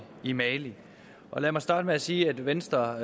i mali lad mig starte med at sige at venstre